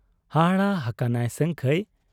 ᱦᱟᱦᱟᱲᱟ ᱦᱟᱠᱟᱱᱟᱭ ᱥᱟᱹᱝᱠᱷᱟᱹᱭ ᱾